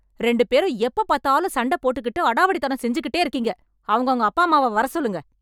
ரெண்டு பேரும் எப்பப் பாத்தாலும் சண்டை போட்டுகிட்டு அடாவடித்தனம் செஞ்சுட்டேருக்கீங்க... அவங்கவங்க அப்பாம்மாவ வரசொல்லுங்க.